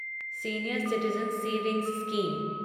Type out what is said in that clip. senior citizen savings scheme